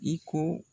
I ko